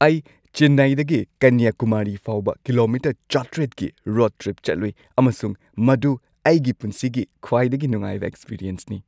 ꯑꯩ ꯆꯦꯟꯅꯥꯏꯗꯒꯤ ꯀꯟꯌꯥꯀꯨꯃꯥꯔꯤ ꯐꯥꯎꯕ ꯀꯤꯂꯣꯃꯤꯇꯔ ꯷꯰꯰ꯀꯤ ꯔꯣꯗ ꯇ꯭ꯔꯤꯞ ꯆꯠꯂꯨꯏ ꯑꯃꯁꯨꯡ ꯃꯗꯨ ꯑꯩꯒꯤ ꯄꯨꯟꯁꯤꯒꯤ ꯈ꯭ꯋꯥꯏꯗꯒꯤ ꯅꯨꯡꯉꯥꯏꯕ ꯑꯦꯛꯁꯄꯔꯤꯑꯦꯟꯁꯅꯤ꯫